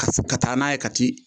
Ka ka taa n'a ye ka t'i